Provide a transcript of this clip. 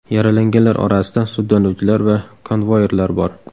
Yaralanganlar orasida sudlanuvchilar va konvoirlar bor.